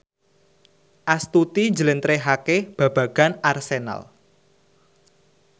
Astuti njlentrehake babagan Arsenal